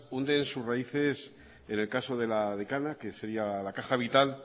hunden sus raíces en el caso de la decana que sería la caja vital